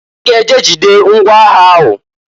I ga-eje jide ngwa agha ahụ!